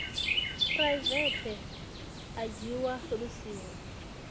phuraivethe a dzhiwa lu siho